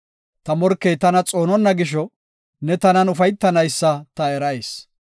Ta morkey tana xoononna gisho, ne tanan ufaytanaysa ta erayis.